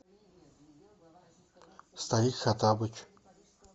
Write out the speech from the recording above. старик хоттабыч